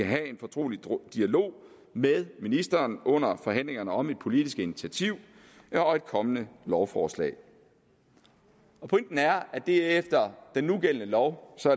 have en fortrolig dialog med ministeren under forhandlingerne om et politisk initiativ og et kommende lovforslag pointen er at det efter den nugældende lov